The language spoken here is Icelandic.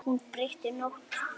Hún breytti nótt í dag.